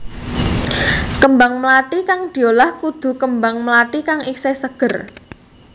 Kembang mlathi kang diolah kudu kembang mlathi kang isih seger